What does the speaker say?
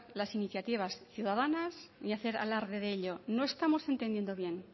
las iniciativas ciudadanas ni hacer alarde de ello no estamos entendiendo bien